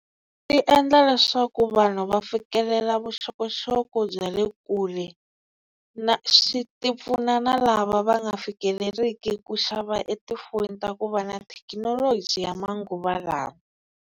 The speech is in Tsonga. Ti endla leswaku vanhu va fikelela vuxokoxoko bya le kule na swi ti pfuna na lava va nga fikeleliki ku xava etifonini ta ku va na thekinoloji ya manguva lawa.